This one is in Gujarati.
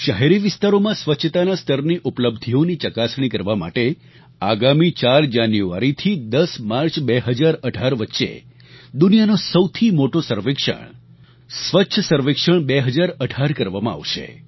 શહેરી વિસ્તારોમાં સ્વચ્છતાના સ્તરની ઉપલબ્ધિઓની ચકાસણી કરવા માટે આગામી 4 જાન્યુઆરી થી 10 માર્ચ 2018 વચ્ચે દુનિયાનો સૌથી મોટો સર્વેક્ષણ સ્વચ્છ સર્વેક્ષણ 2018 કરવામાં આવશે